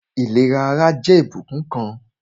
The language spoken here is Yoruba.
Ìlera ara jẹ́ ìbùkún kan